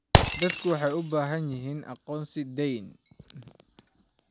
Dadku waxay u baahan yihiin aqoonsi deyn.